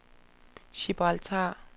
Gibraltar